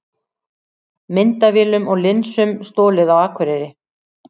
Myndavélum og linsum stolið á Akureyri